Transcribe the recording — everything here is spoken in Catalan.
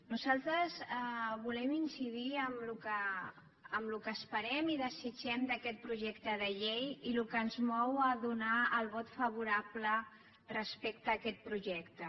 nosaltres volem incidir en el que esperem i desitgem d’aquest projecte de llei i el que ens mou a donar el vot favorable respecte a aquest projecte